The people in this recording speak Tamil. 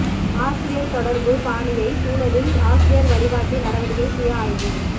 ஆசிரியர் தொடர்பு பாணியை சூழலில் ஆசிரியர் வழிகாட்டி நடவடிக்கை சுய ஆய்வு